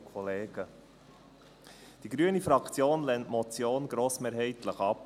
Die grüne Fraktion lehnt die Motion grossmehrheitlich ab.